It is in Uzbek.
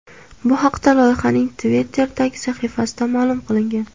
Bu haqda loyihaning Twitter’dagi sahifasida ma’lum qilingan .